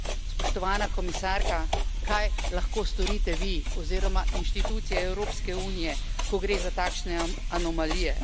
Spoštovana komisarka, kaj lahko storite vi oziroma institucije Evropske unije, ko gre za takšne anomalije?